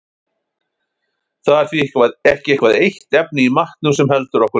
Það er því ekki eitthvað eitt efni í matnum sem heldur okkur lifandi.